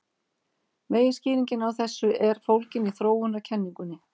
Meginskýringin á þessu er fólgin í þróunarkenningunni.